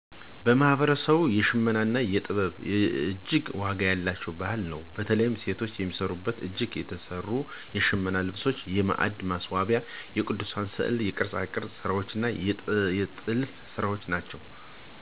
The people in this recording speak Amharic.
በማህበረሰባችን የሽመና ጥበብ እጅግ ዋጋ ያለው ባህል ነው። በተለይ ሴቶች የሚሰሩት በእጅ የተሰሩ የሽመና ልብሶች እና የማዕድ ማስዋብያዎች፣ የቅዱሳን ሥዕላት፣ የቅርጻቅርጽ ሥራዎች፣ የጥልፍ ሥራዎች ናቸው። እነዚህ ሥራዎች ባህልን እንዲጠብቁ ያበረታታቸዋል። ይህም ባህላዊ ጥበባቸውን በዘመናዊ የገበሬነት ወይም የንግድ ስራዎች ጋር በማዋሃድ ወደ ገበያ ለማስገባት ያግዛቸዋል። በአካባቢያችን በተከበሩ የመንፈሳዊ እምነት ሥነ ሥርዓቶች ውስጥም ቦታ አላቸው። እነዚህ ሁሉ ማህበራዊ ግንኙነትን ያጠናክራሉ።